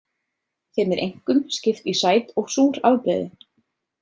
Þeim er einkum skipt í sæt og súr afbrigði.